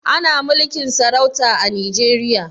Ana mulkin sarauta a Nijeriya?